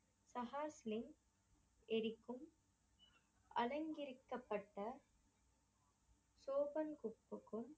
ககாஸ்லிங் எரிக்கும் அலங்கிரிக்கப்பட்ட